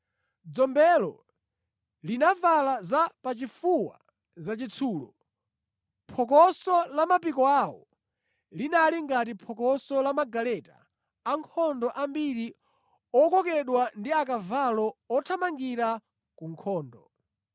Dzombelo linavala za pachifuwa zachitsulo. Phokoso la mapiko awo linali ngati phokoso la magaleta ankhondo ambiri okokedwa ndi akavalo othamangira ku nkhondo.